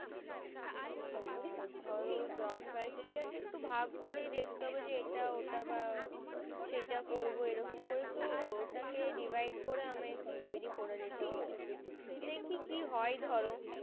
আর ধরো job criteria একটু ভাগ করে দেখতে হবে যে এটা ওটা বা সেটা করবো এরকম করে তো divide করে আমায় একটু তৈরী করে নিতে হবে